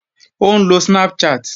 Ó ń lo Snapchat